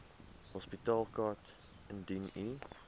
hospitaalkaart indien u